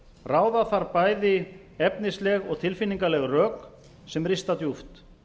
ráða þarf bæði efnisleg og tilfinningaleg rök sem rista djúpt